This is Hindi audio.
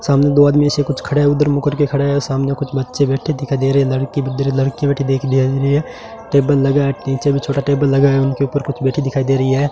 सामने दो आदमी से कुछ खड़े उधर मुंह करके खड़ा है सामने कुछ बच्चे बैठे दिखा दे रे लड़की भी तेरे लड़के टेबल लगा है नीचे भी छोटा टेबल लगा है उनके ऊपर कुछ बैठी दिखाई दे रही है।